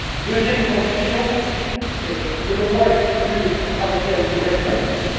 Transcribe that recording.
Deuxième conviction le moment est venu de travailler à une nouvelle croissance.